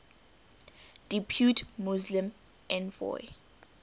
depute muslim envoy